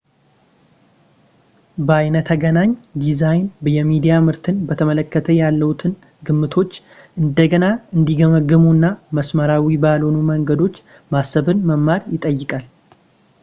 በይነተገናኝ ዲዛይን የሚዲያ ምርትን በተመለከተ ያለዎትን ግምቶች እንደገና እንዲገመግሙ እና መስመራዊ ባልሆኑ መንገዶች ማሰብን መማር ይጠይቃል